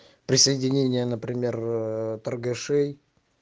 присоединение например торгашей